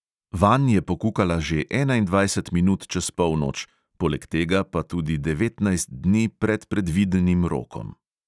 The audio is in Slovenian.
Vanj je pokukala že enaindvajset minut čez polnoč, poleg tega pa tudi devetnajst dni pred predvidenim rokom.